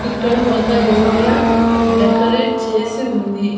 ఇక్కడ ఒక area decorate చేసి ఉంది.